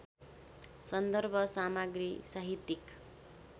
सन्दर्भ सामग्री साहित्यिक